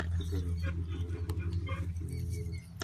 покажи список киноработ с актрисой хелен миррен